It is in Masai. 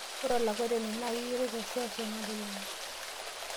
Ore olakwetani naa keyioloi te seuseu nalulung'a.